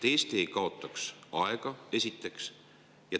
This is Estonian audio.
Eesti ei kaotaks siis enam aega, seda esiteks.